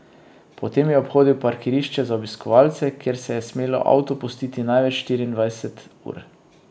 Potem je obhodil parkirišče za obiskovalce, kjer se je smelo avto pustiti največ štiriindvajset ur.